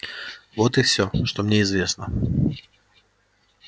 вот и всё что мне известно